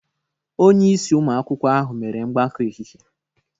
Onye isi ụmụ akwụkwọ ahụ mere mgbakọ ehihie